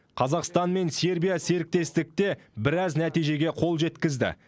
қазақстан мен сербия серіктестікте біраз нәтижеге қол жеткізді